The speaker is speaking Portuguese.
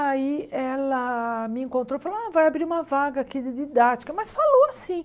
Aí ela me encontrou e falou, ah vai abrir uma vaga aqui de didática, mas falou assim.